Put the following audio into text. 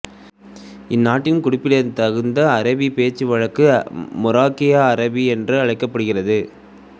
இந்த நாட்டின் குறிப்பிடத்தகுந்த அராபி பேச்சுவழக்கு மொராக்கிய அராபி என்று அழைக்கப்படுகிறது